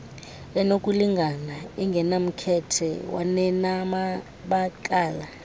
enokulingana engenamkhethe kwanenamabakala